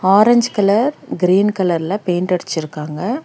Orange colour green கலர்ல paint அடுச்சுருக்காங்க.